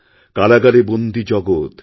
কারাগারে বন্দী জগৎ